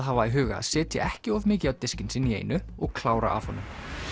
hafa í huga að setja ekki of mikið á diskinn sinn í einu og klára af honum